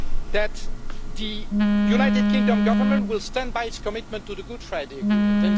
that the United Kingdom Government will stand by its commitment to the Good Friday Agreement